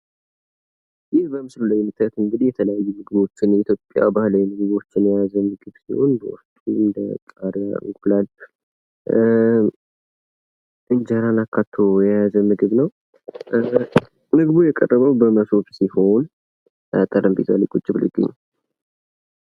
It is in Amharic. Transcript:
ይህ በምስሉ ላይ የምታዩት እንግዲህ የኢትዮጵያ ምግቦችን የተለያዩ ባህላዊ ምግቦችን የያዘ ሲሆን ድንች ቃሪያ እና እንቁላል እንጀራ አካቶ የያዘ ምግብ ነው። ምግቡ የቀረበው በሞሰብ ሲሆን የተቀመጠው ጠረጴዛ ላይ ነው።